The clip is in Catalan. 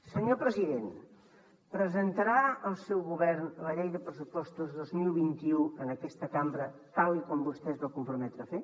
senyor president presentarà el seu govern la llei de pressupostos dos mil vint u en aquesta cambra tal com vostè es va comprometre a fer